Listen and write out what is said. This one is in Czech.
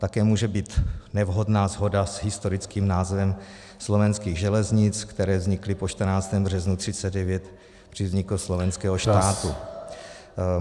Také může být nevhodná shoda s historickým názvem Slovenských železnic, které vznikly po 14. březnu 1939 při vzniku Slovenského štátu.